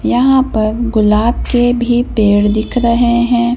यहां पर गुलाब के भी पेड़ दिख रहे हैं।